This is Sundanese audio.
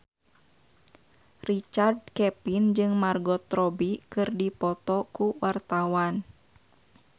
Richard Kevin jeung Margot Robbie keur dipoto ku wartawan